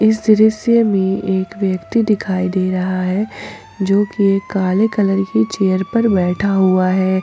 इस दृश्य में एक व्यक्ति दिखाई दे रहा है जो कि यह काले कलर की चेयर पर बैठा हुआ है।